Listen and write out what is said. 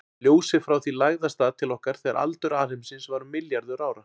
Ljósið frá því lagði af stað til okkar þegar aldur alheimsins var um milljarður ára.